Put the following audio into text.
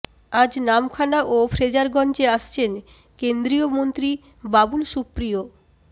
আজ নামখানা ও ফ্রেজারগঞ্জে আসছেন কেন্দ্রীয় মন্ত্রী বাবুল সুপ্রিয়